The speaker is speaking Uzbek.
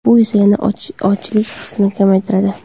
Bu esa yana ochlik hissini kamaytiradi.